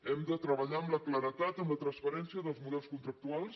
hem de treballar amb la claredat i en la transparència dels models contractuals